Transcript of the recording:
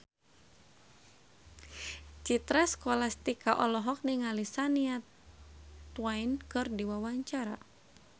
Citra Scholastika olohok ningali Shania Twain keur diwawancara